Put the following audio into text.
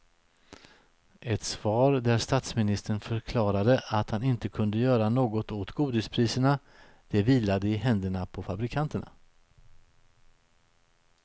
Ett svar där statsministern förklarade att han inte kunde göra något åt godispriserna, det vilade i händerna på fabrikanterna.